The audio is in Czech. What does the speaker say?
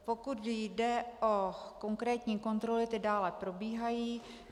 Pokud jde o konkrétní kontroly, ty dále probíhají.